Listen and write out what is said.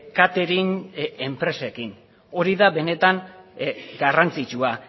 catering enpresekin hori da benetan garrantzitsua